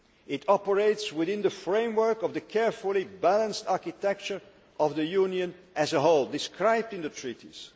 It operates within the framework of the carefully balanced architecture of the Union as a whole, described in the treaties.